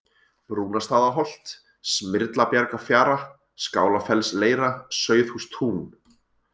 Brúnastaðaholt, Smyrlabjargafjara, Skálafellsleira, Sauðhústún